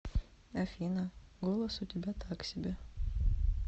афина голос у тебя так себе